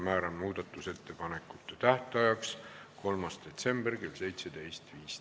Määran muudatusettepanekute tähtajaks 3. detsembri kell 17.15.